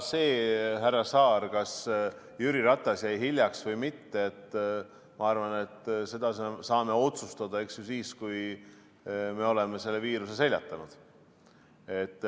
Seda, härra Saar, kas Jüri Ratas jäi hiljaks või mitte, ma arvan, et seda saame otsustada siis, kui me oleme selle viiruse seljatanud.